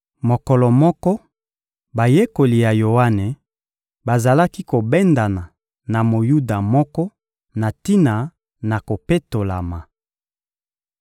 Mokolo moko, bayekoli ya Yoane bazalaki kobendana na Moyuda moko na tina na kopetolama.